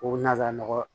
Ko nanzara nɔgɔ